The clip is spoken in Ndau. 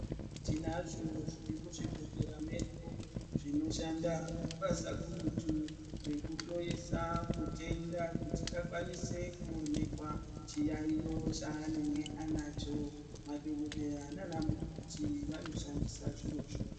Tinazvo zviri muzvibhedhlera zvedu zvinoshanda basa kurutu rekuhloyesa mutenda kuti akwanise chiyaiyo chanenge anacho madhokodheya nana mukoti vanoshandisa zvirozvo.